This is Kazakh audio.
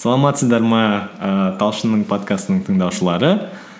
саламатсыздар ма ііі талшынның подкастының тыңдаушылары